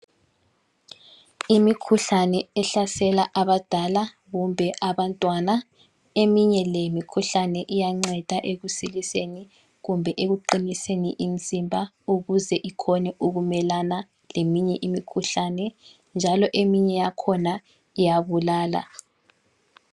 Imikhuhlane ehlasela abadala kumbe abantwana. Eminye le mikhuhlane iyanceda ekusiliseni kumbe ekuqiniseni imzimba, ukuze ikhone ukumelana leminye imikhuhlane. Njalo eminye yakhona iyabulala.